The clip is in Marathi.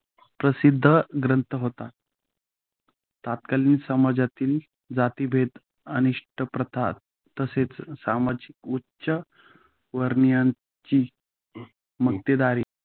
प्रसिद्ध ग्रंथ होता. तत्कालीन समाजातील जातिभेद अनिष्ट प्रथा, तसेच समाजातील उच्चवर्णीयांच मक्तेदारी